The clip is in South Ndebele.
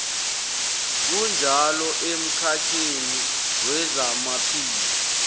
kunjalo emkhakheni wezamaphilo